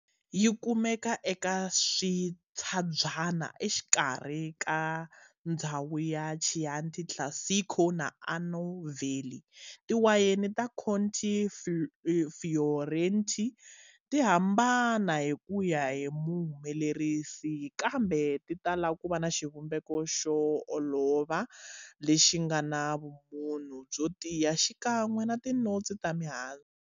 Yikumeka eka swintshabyana exikarhi ka ndzhawu ya Chianti Classico na Arno valley, tiwayeni ta Colli Fiorentini tihambana swinene kuya hi muhumelerisi, kambe titala kuva na xivumbeko xo olova lexingana vumunhu byo tiya xikan'we na tinotsi ta mihandzu.